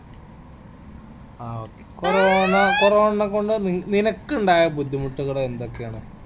ആ okay corona corona നെ കൊണ്ട് നിനക്കിണ്ടായ ബുദ്ധിമുട്ടുകൾ എന്തൊക്കെ ആണ്